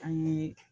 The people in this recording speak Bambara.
An ye